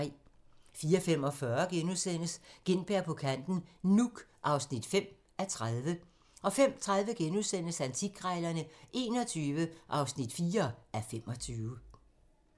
04:45: Gintberg på kanten - Nuuk (5:30)* 05:30: Antikkrejlerne XXI (4:25)*